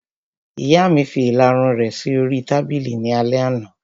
Ìyá mi fi ìlarun rẹ̀ sí oríi tábìlì ní alẹ́ àná